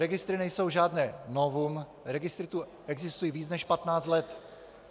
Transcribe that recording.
Registry nejsou žádné novum, registry tu existují více než 15 let.